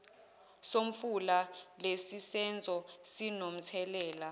somfula lesisenzo sinomthelela